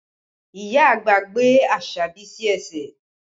Ìyá àgbà gbé Asabi sí ẹsẹ̀